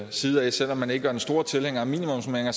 side selv om man ikke er den store tilhænger af minimumsnormeringer